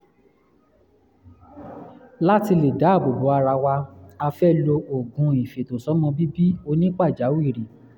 láti lè dáàbò bò ara wa a fẹ́ lo oògùn ìfètòsọ́mọbíbí onípàjáwìrì